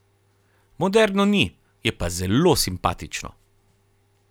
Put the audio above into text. Moderno ni, je pa zelo simpatično.